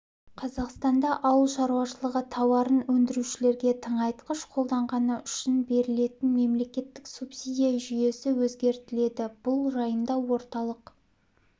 қазақстанда ауыл шаруашылығы тауарын өндірушілерге тыңайтқыш қолданғаны үшін берілетін мемлекеттік субсидия жүйесі өзгертіледі бұл жайында орталық